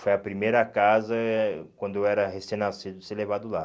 Foi a primeira casa eh, quando eu era recém-nascido, ser levado lá.